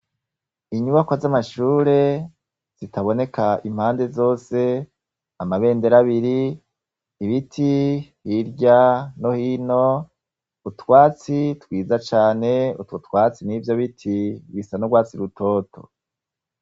Inyubako z'amashure zitaboneka impande zose amabendero abiri ibiti hirya nohino utwatsi twiza cane utwautwatsi n'ivyo biti bisa nourwatsi rutoto.